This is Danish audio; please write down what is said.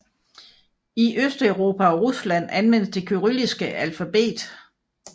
I Østeuropa og Rusland anvendes det kyrilliske alfabet